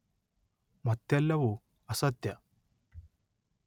ಮತ್ತೆಲ್ಲವೂ ಅಸತ್ಯ